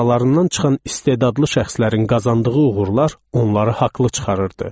Aralarından çıxan istedadlı şəxslərin qazandığı uğurlar onları haqlı çıxarırdı.